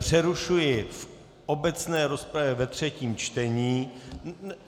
Přerušuji v obecné rozpravě ve třetím čtení.